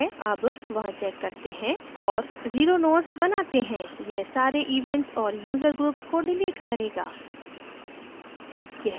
अब वहाँ check करते हैं और 0 nodes बनाते हैं यह सारे events और user groups को डिलीट करेगा